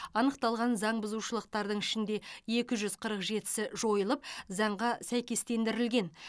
анықталған заң бұзушылықтардың ішінде екі жүз қырық жетісі жойылып заңға сәйкестендірілген